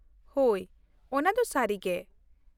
ᱦᱳᱭ, ᱚᱱᱟᱫᱚ ᱥᱟᱹᱨᱤ ᱜᱮ ᱾